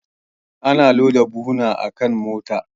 Ana loda buhuna akan motar.